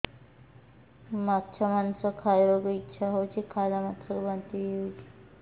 ମାଛ ମାଂସ ଖାଇ ବାକୁ ଇଚ୍ଛା ହଉଛି ଖାଇଲା ମାତ୍ରକେ ବାନ୍ତି ହେଇଯାଉଛି